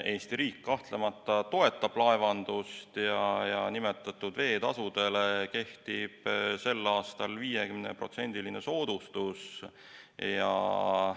Eesti riik kahtlemata toetab laevandust ja nimetatud veetasudele kehtib sel aastal 50%-line soodustus.